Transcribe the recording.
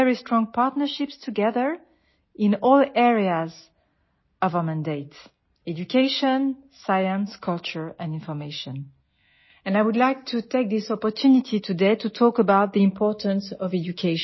We have very strong partnerships together in all areas of our mandate education, science, culture and information and I would like to take this opportunity today to talk about the importance of education